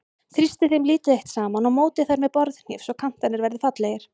Þrýstið þeim lítið eitt saman og mótið þær með borðhníf svo kantarnir verði fallegir.